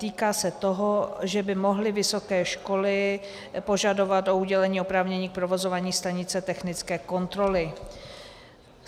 Týká se toho, že by mohly vysoké školy požadovat o udělení oprávnění k provozování stanice technické kontroly.